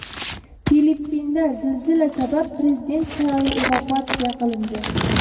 Filippinda zilzila sabab prezident saroyi evakuatsiya qilindi.